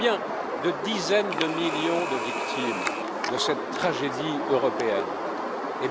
Combien de dizaines de millions de victimes cette tragédie européenne a t elle fait?